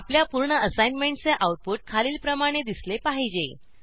आपल्या पूर्ण असाईनमेंटचे आऊटपुट खालीलप्रमाणे दिसले पाहिजे